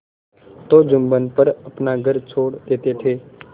तो जुम्मन पर अपना घर छोड़ देते थे